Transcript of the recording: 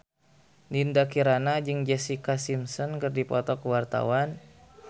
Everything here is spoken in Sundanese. Dinda Kirana jeung Jessica Simpson keur dipoto ku wartawan